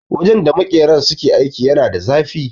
Wajen da makeran suke aiki yana da zafi.